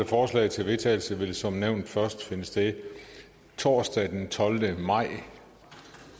forslag til vedtagelse vil som nævnt først finde sted torsdag den tolvte maj